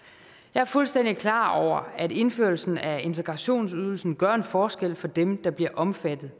er fuldstændig klar over at indførelsen af integrationsydelsen gør en forskel for dem der bliver omfattet